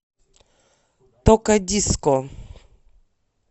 токадиско